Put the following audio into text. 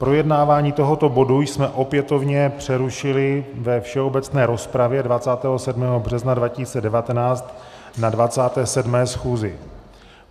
Projednávání tohoto bodu jsme opětovně přerušili ve všeobecné rozpravě 27. března 2019 na 27. schůzi.